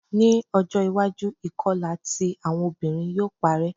Ni ojo iwaju, ikọla ti awọn obinrin yoo parẹ